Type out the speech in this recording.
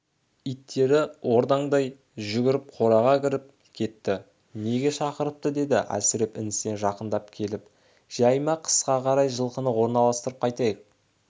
иттері ордаңдай жүгіріп қораға кіріп кетті неге шақыртыпты деді әсіреп інісіне жақындап келіп жай ма қысқа қарай жылқыны орналастырып қайтайық